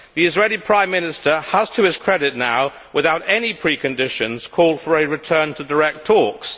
The Israeli Prime Minister has, to his credit, now, without any preconditions, called for a return to direct talks.